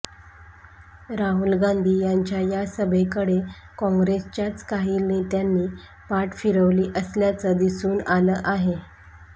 राहुल गांधी यांच्या या सभेकडे काँग्रेसच्याच काही नेत्यांनी पाठ फिरवली असल्याचं दिसून आलं आहे